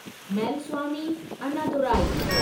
Mylswamy Annadurai